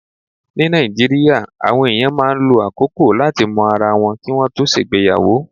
Ní Nàìjíríà, àwọn èèyàn máa ń lo àkókò láti mọ ara wọn kí wọ́n tó ṣègbéyàwó.